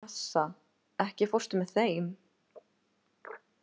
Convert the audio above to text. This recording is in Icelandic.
Assa, ekki fórstu með þeim?